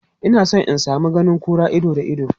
Ina son in sami ganin kura ido da ido.